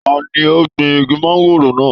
Ta ní o gbìn igi mangòrò náà?